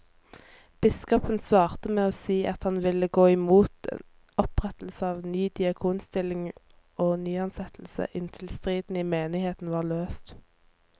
Biskopen svarte med å si at han ville gå mot opprettelse av ny diakonstilling og nyansettelser inntil striden i menigheten var løst.